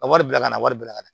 Ka wari bila ka na wari bila ka na